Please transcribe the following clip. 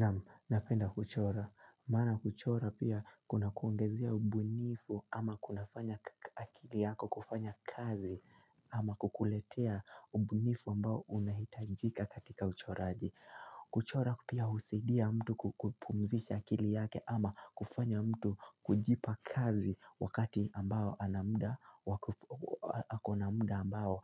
Naam, napenda kuchora. Maana kuchora pia kunakuongezea ubunifu ama kunafanya akili yako kufanya kazi ama kukuletea ubunifu ambao unahitajika katika uchoraji. Kuchora pia husidia mtu kupumzisha akili yake ama kufanya mtu kujipa kazi wakati ambao ana muda ako na muda ambao